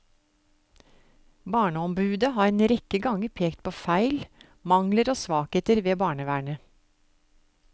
Barneombudet har en rekke ganger pekt på feil, mangler og svakheter ved barnevernet.